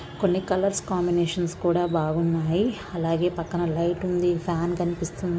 కొన్ని colours combinations కూడా బాగున్నాయి. అలాగే పక్కన లైట్ ఉంది. ఫ్యాన్ కనిపిస్తుంది.